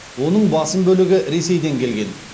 оның басым бөлігі ресейден келген